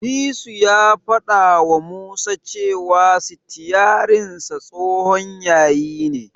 Disu ya fadawa Musa cewa sitiyarinsa tsohon yayi ne.